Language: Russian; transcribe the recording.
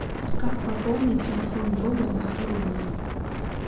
как пополнить телефон друга на сто рублей